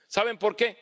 ¿Saben por qué?